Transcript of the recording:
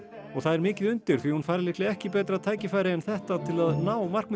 og það er mikið undir því hún fær líklega ekki betra tækifæri en þetta til að ná markmiði